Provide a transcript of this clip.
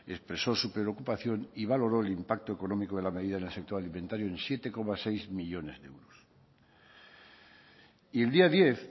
expresó su preocupación y valoró el impacto económico de la medida en el sector alimentario en siete coma seis millónes de euros y el día diez